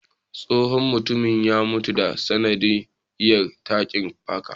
Tsohon mutumin ya mutu ta sanadiya tarin fuka